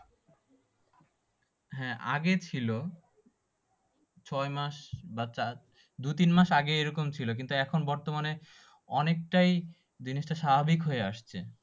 হ্যাঁ আগে ছিল, ছয় মাস বা তার দুই তিন মাস আগে এইরকম ছিল। কিন্তু এখন বর্তমানে অনেকটাই জিনিসটা স্বাভাবিক হয়ে আসছে।